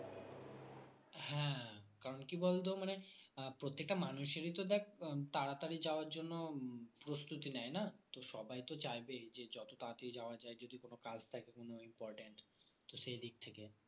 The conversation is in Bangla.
কারণ কি বলতো মানে প্রত্যেকটা মানুষের ই তো দেখ উম তাড়াতাড়ি যাওয়ার জন্য উম প্রস্তুতি নেয় না তো সবাই তো চাইবেই যে যত তাড়াতাড়ি যাওয়া যায় যদি কোনো কাজ থাকে উম important তো সেই দিক থেকে